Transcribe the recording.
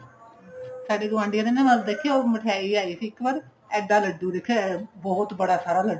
ਸਾਡੇ ਗੁਆਢੀਆਂ ਦੇ ਨਾ ਦੇਖਿਓ ਮਿਠਾਈ ਆਈ ਸੀ ਇੱਕ ਵਾਰ ਐਡਾ ਲੱਡੂ ਦੇਖੀ ਬਹੁਤ ਬੜਾ ਸਾਰਾ ਲੱਡੂ